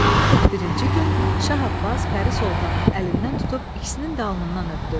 41-ci gün Şah Abbas Pəri Soltanın əlindən tutub ikisinin də alnından öpdü.